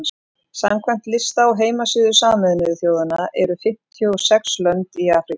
samkvæmt lista á heimasíðu sameinuðu þjóðanna eru fimmtíu og sex lönd í afríku